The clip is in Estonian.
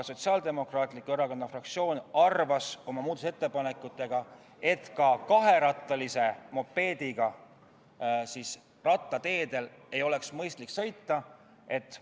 Sotsiaaldemokraatliku Erakonna fraktsioon arvas oma muudatusettepanekutega, et ka kaherattalise mopeediga ei ole mõistlik jalgrattateel sõita.